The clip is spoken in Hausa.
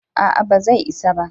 a'a ba zai isa ba